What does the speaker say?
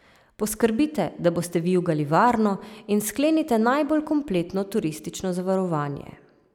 Poskrbite, da boste vijugali varno in sklenite najbolj kompletno turistično zavarovanje.